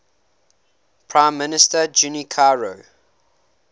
prime minister junichiro